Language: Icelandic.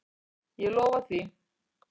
Ég lofa því.